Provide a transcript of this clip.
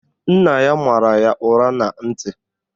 Nna ya mara ya ụra na ntị